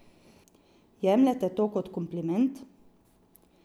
Jemljete to kot kompliment?